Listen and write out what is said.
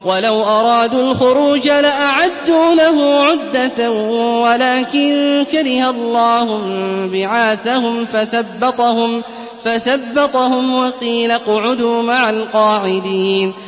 ۞ وَلَوْ أَرَادُوا الْخُرُوجَ لَأَعَدُّوا لَهُ عُدَّةً وَلَٰكِن كَرِهَ اللَّهُ انبِعَاثَهُمْ فَثَبَّطَهُمْ وَقِيلَ اقْعُدُوا مَعَ الْقَاعِدِينَ